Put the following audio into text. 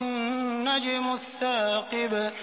النَّجْمُ الثَّاقِبُ